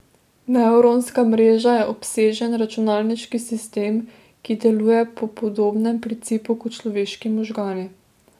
Nevronska mreža je obsežen računalniški sistem, ki deluje po podobnem principu kot človeški možgani.